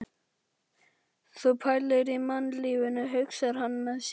Sú pælir í mannlífinu, hugsar hann með sér.